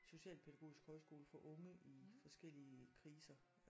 Socialpædagogisk højskole for unge i forskellige kriser